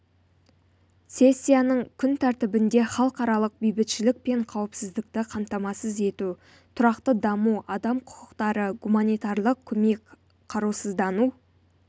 сессияның күн тәртібінде халықаралық бейбітшілік пен қауіпсіздікті қамтамасыз ету тұрақты даму адам құқықтары гуманитарлық көмек қарусыздану